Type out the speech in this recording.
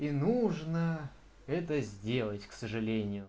и нужно это сделать к сожалению